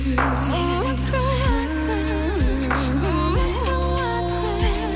ұмытылады ұмытылады